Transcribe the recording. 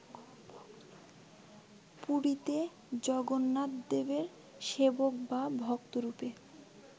পুরীতে জগন্নাথদেবের সেবক বা ভক্তরূপে